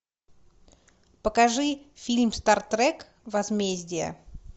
покажи фильм стартрек возмездие